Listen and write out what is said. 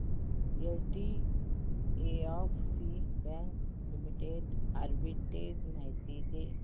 HDFC bank limited arbitrage माहिती दे